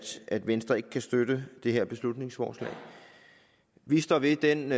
at venstre ikke kan støtte det her beslutningsforslag vi står ved den